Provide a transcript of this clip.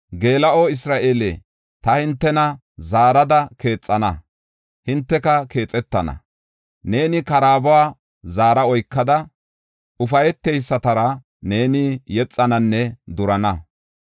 Geela7o Isra7eele, ta hintena zaarada keexana; hinteka keexetana. Neeni karaabuwa zaara oykada, ufayteysatara neeni yexananne durana.